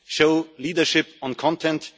Show leadership on content.